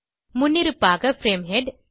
முன்னிருப்பாக frame head